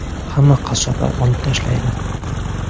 Hamma qassoblar olib tashlaydi.